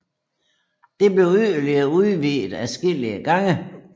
Det blev yderligere udvidet adskillige gange